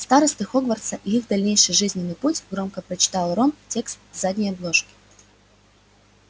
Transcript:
старосты хогвартса и их дальнейший жизненный путь громко прочитал рон текст с задней обложки